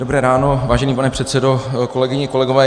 Dobré ráno, vážený pane předsedo, kolegyně, kolegové.